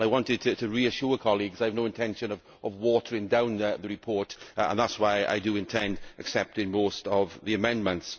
I wanted to reassure colleagues that I have no intention of watering down the report and that is why I intend accepting most of the amendments.